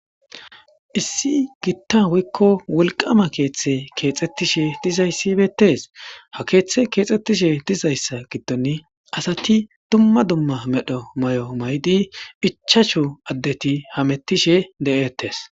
Issi giitta woykko wolqama keeththe keexettishe dizayssi beettes ha keeththe keexxettishe dizayssa giddon asati dumma dumma medho may'o may'di ichasho addeti hamettishe de7'ettes.